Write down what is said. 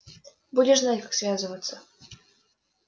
будешь знать как связываться